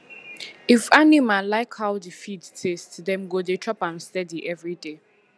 if animal like how the feed taste dem go dey chop am steady every day